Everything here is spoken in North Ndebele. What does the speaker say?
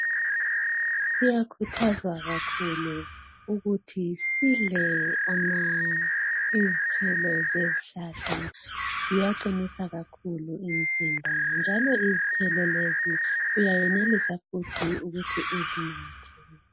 siyakhuthaza kakhulu ukuthi sidle izithelo zezihlahla ziyaqinisa kakhulu umzimba njalo izithelo lezi uyayenelisa futhi ukuthi uzinathe